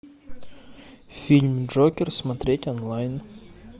фильм джокер смотреть онлайн